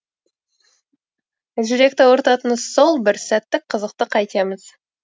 жүректі ауыртатыны сол бір сәттік қызықты қайтеміз